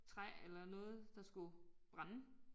Træ eller noget der skulle brænde